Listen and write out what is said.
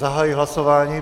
Zahajuji hlasování.